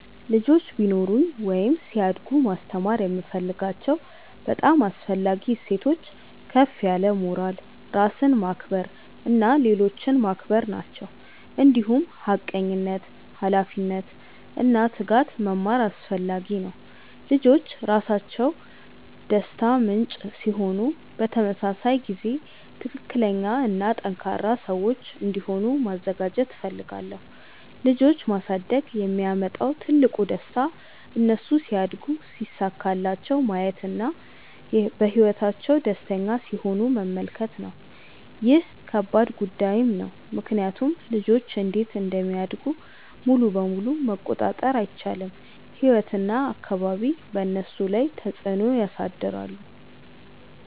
ልጆች ቢኖሩኝ ወይም ሲያድጉ ማስተማር የምፈልጋቸው በጣም አስፈላጊ እሴቶች ከፍ ያለ ሞራል፣ ራስን ማክበር እና ሌሎችን ማክበር ናቸው። እንዲሁም ሐቀኝነት፣ ኃላፊነት እና ትጋት መማር አስፈላጊ ነው። ልጆች ራሳቸው ደስታ ምንጭ ሲሆኑ በተመሳሳይ ጊዜ ትክክለኛ እና ጠንካራ ሰዎች እንዲሆኑ ማዘጋጀት እፈልጋለሁ። ልጆች ማሳደግ የሚያመጣው ትልቁ ደስታ እነሱ ሲያድጉ ሲሳካላቸው ማየት እና በህይወታቸው ደስተኛ ሲሆኑ መመልከት ነው። ይህ ከባድ ጉዳይም ነው ምክንያቱም ልጆች እንዴት እንደሚያድጉ ሙሉ በሙሉ መቆጣጠር አይቻልም፤ ህይወት እና አካባቢ በእነሱ ላይ ተፅዕኖ ያሳድራሉ።